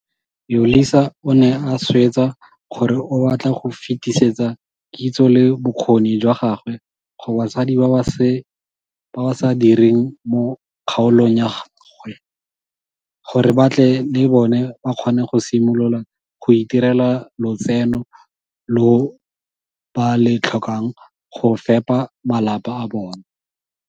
Yolisa o ne a swetsa gore o batla go fetisetsa kitso le bokgoni jwa gagwe go basadi ba ba sa direng mo kgaolong ya gagwe, gore ba tle le bone ba kgone go simolola go itirela lotseno lo ba le tlhokang go fepa bamalapa a bona.